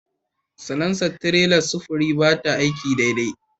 Salansa na tirelar sufuri ba ta aiki daidai